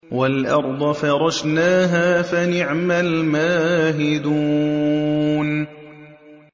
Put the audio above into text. وَالْأَرْضَ فَرَشْنَاهَا فَنِعْمَ الْمَاهِدُونَ